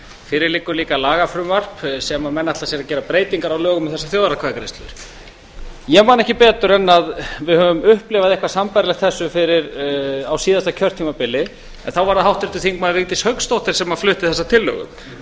fyrir liggur líka lagafrumvarp sem menn ætla sér að gera breytingar á lögum um þessar þjóðaratkvæðagreiðslur ég man ekki betur en að við höfum upplifað eitthvað sambærilegt þessu á síðasta kjörtímabili en þá bara það háttvirtur þingmaður vigdís hauksdóttir sem flutti þessa tillögu